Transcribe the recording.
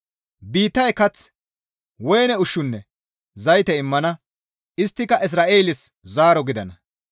Biittay kath, woyne ushshunne zayte immana; isttika Izra7eeles zaaro gidana.